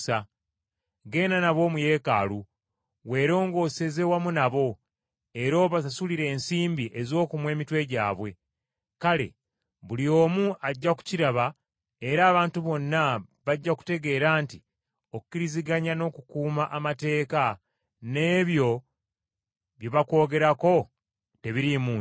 Genda nabo mu Yeekaalu weerongooseze wamu nabo, era obasasulire ensimbi ez’okumwa emitwe gyabwe. Kale buli omu ajja kukiraba era abantu bonna bajja kutegeera nti okiriziganya n’okukuuma amateeka, n’ebyo bye bakwogerako tebiriimu nsa.